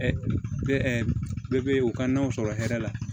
bɛɛ bɛ u ka nɔnɔ sɔrɔ hɛrɛ la